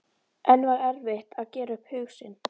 En var erfitt að gera upp hug sinn?